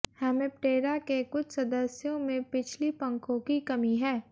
Hemiptera के कुछ सदस्यों में पिछली पंखों की कमी है